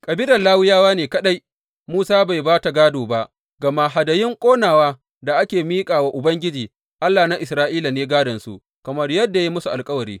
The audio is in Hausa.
Kabilar Lawiyawa ne kaɗai Musa bai ba ta gādo ba, gama hadayun ƙonawa da ake miƙa wa Ubangiji, Allah na Isra’ila ne gādonsu, kamar yadda ya yi musu alkawari.